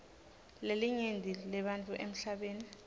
lelinyenti lebantfu emhlabeni